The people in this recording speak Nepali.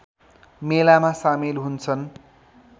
मेलामा सामेल हुन्छन्